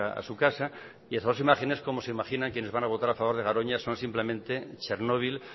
a su casa y esas dos imágenes como se imaginan quienes van a votar a favor de garoña son simplemente chernobyl